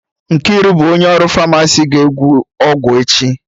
Nkiru bụ onye ọrụ Famasi ga-ekwu okwu echi